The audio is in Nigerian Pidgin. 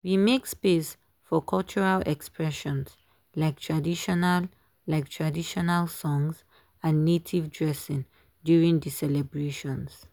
we make space for cultural expressions like traditional like traditional songs and native dressing during the celebrations.